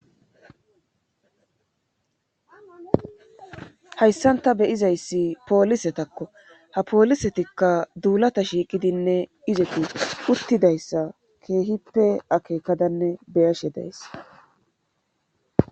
Hayssan ta beyizayssi poolisetakko ha poolisetikka duulata shiiqidinne izeku uttidayssa keehippe akeekadanne beyashe daysse.